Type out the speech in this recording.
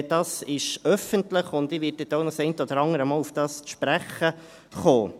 Dieses ist öffentlich, und ich werde auch noch das eine oder andere Mal darauf zu sprechen kommen.